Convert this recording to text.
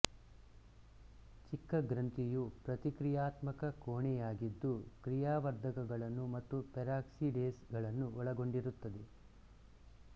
ಚಿಕ್ಕ ಗ್ರಂಥಿಯು ಪ್ರತಿಕ್ರಿಯಾತ್ಮಕ ಕೋಣೆಯಾಗಿದ್ದು ಕ್ರಿಯಾವರ್ಧಕಗಳನ್ನು ಮತ್ತು ಪೆರಾಕ್ಸಿಡೇಸ್ ಗಳನ್ನು ಒಳಗೊಂಡಿರುತ್ತದೆ